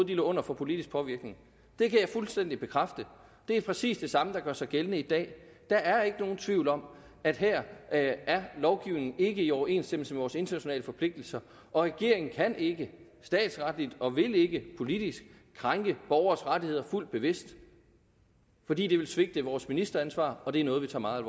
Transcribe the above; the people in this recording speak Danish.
de lå under for politisk påvirkning det kan jeg fuldstændig bekræfte det er præcis det samme der gør sig gældende i dag der er ikke nogen tvivl om at her er lovgivningen ikke i overensstemmelse med vores internationale forpligtelser og regeringen kan ikke statsretligt og vil ikke politisk krænke borgeres rettigheder fuldt bevidst fordi det vil svigte vores ministeransvar og det er noget vi tager meget